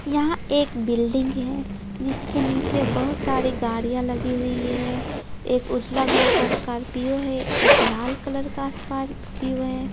यहां एक बिल्डिंग है जिसके नीचे बहुत सारी गाड़ियां लगी हुई है एक उजला कलर का स्कॉर्पियो है एक लाल कलर का असवार--